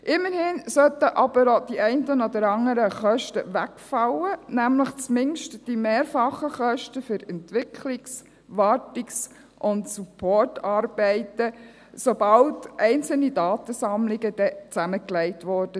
Immerhin sollten aber auch die einen oder anderen Kosten wegfallen, nämlich zumindest die mehrfachen Kosten für Entwicklungs-, Wartungs- und Supportarbeiten, sobald dann einzelne Datensammlungen zusammengelegt wurden.